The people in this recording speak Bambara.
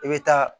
I bɛ taa